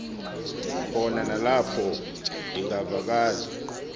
khona nalapho ndingavakali